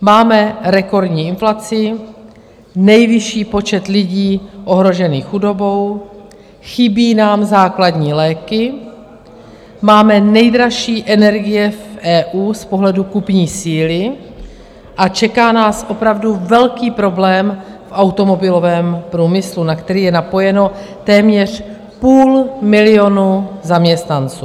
Máme rekordní inflaci, nejvyšší počet lidí ohrožených chudobou, chybí nám základní léky, máme nejdražší energie v EU z pohledu kupní síly a čeká nás opravdu velký problém v automobilovém průmyslu, na který je napojeno téměř půl milionu zaměstnanců.